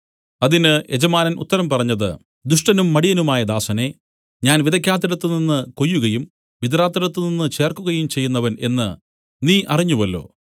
അതിന് യജമാനൻ ഉത്തരം പറഞ്ഞത് ദുഷ്ടനും മടിയനും ആയ ദാസനേ ഞാൻ വിതയ്ക്കാത്തിടത്ത് നിന്നു കൊയ്യുകയും വിതറാത്തിടത്തുനിന്ന് ചേർക്കുകയും ചെയ്യുന്നവൻ എന്നു നീ അറിഞ്ഞുവല്ലോ